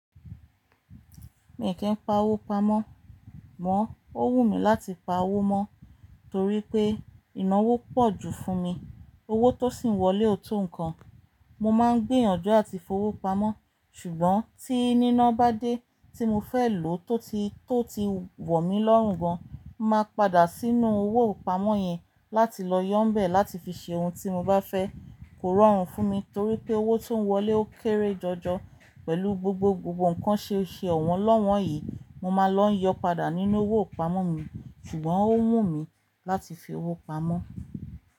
Mi ki i powó pamọ́. Amo ọ́ wù mí láti pa owó mọ́ torí pé ìnáwó pọ̀ ju fún mi. Owó tó sì ń wọlé ò tó nǹkan. Mo máa ń gbé yànjú àti fi owó pamọ́ ṣùgbọ́n tí iná bá dé tí mo fẹ́ lò tó ti, tó ti wọ̀ mí lọ́rùn gan an, màá padà sínú owó ìpamọ́ yẹn láti lọ yọ́ n bẹ̀ láti fi ṣe ohun tí mo bá fẹ́. Kò rọrùn fún mi torí pé owó tó ń wọlé ó kéré jọjọ pẹ̀lú gbogbogbò nǹkan ṣe, ṣe ọ̀wọ́n lọ́wọ́n yìí. Mo máa lọ yọ padà nínú owó ìpamọ́ mi ṣùgbọ́n ó wù mí láti fi owó pamọ́.